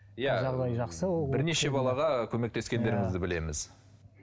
иә бірнеше балаға көмектескендеріңізді білеміз